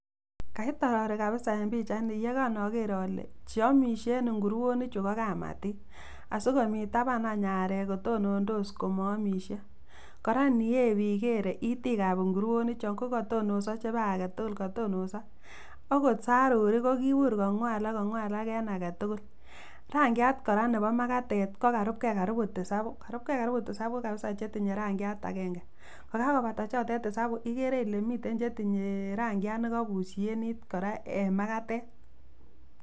Kait orori kabisa en pichaini yekonoker ole cheomishe en inguroni chuu ko kamatik asikomii taban anch arek kotonondos komo omishe, koraa iniyep ikere itik ab inguroni chon ko kotonoso chebo aketukul kotonoso okot sarurik ko kibur kongwalak kongwalak en aketukuk rankiat koraa nebo makatet ko karub gee karibu tisabu karub gee karibu tisabu chetindoi rangiat agenge kokakobata chotet tisabu ikere ile mii chetinye rangiat nekobushenit koraa en makatet.